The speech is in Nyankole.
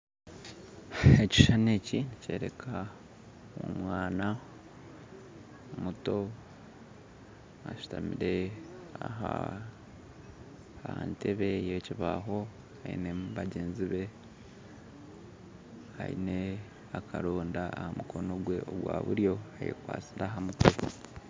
Ekishushani eki eki nikyereeka, omwana muto ashutamire aha nteebe yekibaaho, ayineho bagyenzi be ayine akaronda aha mukono gwe ogwa buryo, ayekwasire ahamutwe